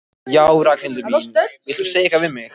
Já, Ragnhildur mín. vildir þú segja eitthvað við mig?